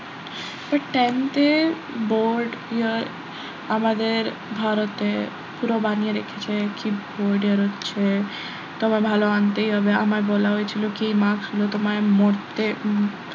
but tenth এ board year আমাদের ভারতে পুরো বানিয়ে রেখেছে কি board year হচ্ছে তোমার ভালো আনতেই হবে আমায় বলা হয়েছিল কি marks জন্য তোমায় মরতে,